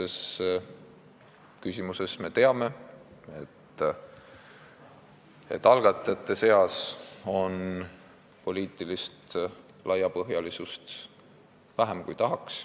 Esimese küsimuse puhul me teame, et algatajate seas on poliitilist laiapõhjalisust vähem, kui tahaks.